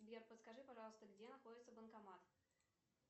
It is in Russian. сбер подскажи пожалуйста где находится банкомат